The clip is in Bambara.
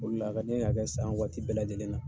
O le la a ka ne ye k'a kɛ san waati bɛɛ lajɛlen na.